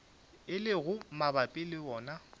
e lego mabapi le wona